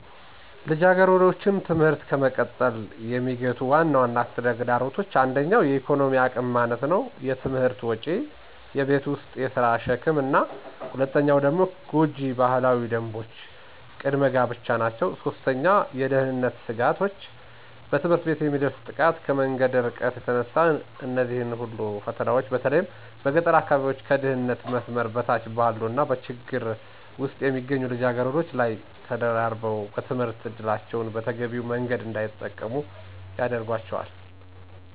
ልጃገረዶችን ትምህርት ከመቀጠል የሚገቱ ዋና ዋና ተግዳሮቶች 1. የኢኮኖሚ አቅም ማነስ * የትምህርት ወጪ: * የቤት ውስጥ የሥራ ሸክም: 2. ጎጂ ባህላዊ ደንቦች * ቅድመ ጋብቻ 3. የደህንነት ስጋቶች * በትምህርት ቤት የሚደርስ ጥቃት: ከመንገዱ እርቀት የተነሳ እነዚህ ሁሉ ፈተናዎች በተለይ በገጠር አካባቢዎች፣ ከድህነት መስመር በታች ባሉ እና በችግር ውስጥ በሚገኙ ልጃገረዶች ላይ ተደራርበው የትምህርት ዕድላቸውን በተገቢው መንገድ እንዳይጠቀሙ ያደርጋቸዋል።